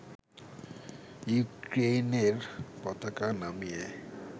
ইউক্রেইনের পতাকা নামিয়ে